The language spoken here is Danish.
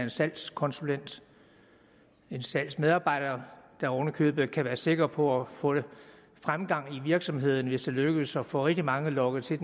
en salgskonsulent en salgsmedarbejder der oven i købet kan være sikker på at få fremgang i virksomheden hvis det lykkes at få rigtig mange lokket til